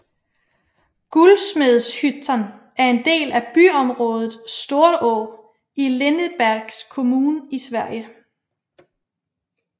Guldsmedshyttan er en del af byområdet Storå i Lindesbergs kommun i Sverige